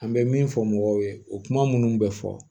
An bɛ min fɔ mɔgɔw ye o kuma minnu bɛ fɔ